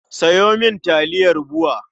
Sayo mini taliyar BUA.